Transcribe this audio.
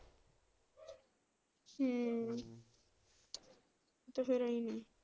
ਹਮ ਤੇ ਫਿਰ ਅਸੀਂ,